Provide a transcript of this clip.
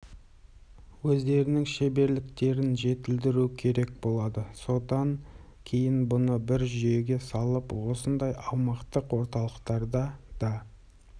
өздерінің шеберліктерін жетілдіру керек болады содан кейін бұны бір жүйеге салып осындай аумақтық орталықтарда да